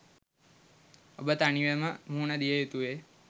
ඔබ තනිවම මුහුණ දිය යුතුවේ.